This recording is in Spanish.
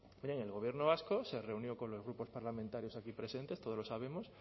el gobierno vasco se reunió con los grupos parlamentarios aquí presentes todos lo sabemos